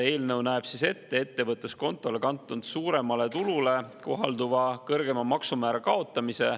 Eelnõu näeb ette ettevõtluskontole kantud suuremale tulule kohalduva kõrgema maksumäära kaotamise.